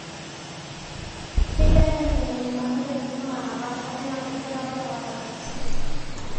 Keigirai aiteng'en irbanot enkisuma naapaasha enaa enchetare oorpapit.